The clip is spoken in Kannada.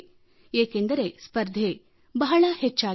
ಏಕೆಂದರೆ ಸ್ಪರ್ಧೆ ಬಹಳ ಹೆಚ್ಚಾಗಿದೆ